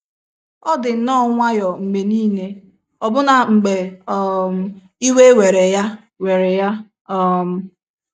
Ọ dị nnọọ nwayọọ mgbe nile, ọbụna mgbe um iwe were ya were ya um.